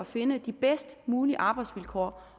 finde de bedst mulige arbejdsvilkår